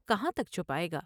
کہاں تک چھپاۓ گا ۔